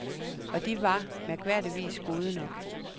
Og de var, mærkværdigvis, gode nok.